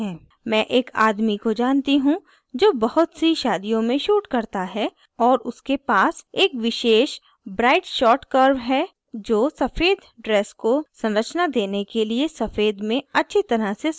मैं एक आदमी को जानती he जो बहुत सी शादियों में shoots करता है और उसके पास एक विशेष bright shot curve है जो सफ़ेद dress को संरचना देने के लिए सफ़ेद में अच्छी तरह से समायोजित है